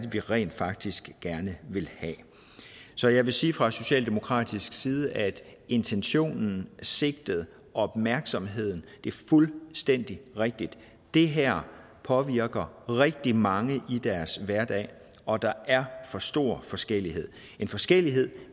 vi rent faktisk gerne vil have så jeg vil sige fra socialdemokratisk side at intentionen sigtet opmærksomheden er fuldstændig rigtige det her påvirker rigtig mange i deres hverdag og der er for stor forskellighed en forskellighed